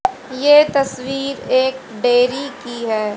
ये तस्वीर एक डेयरी की है।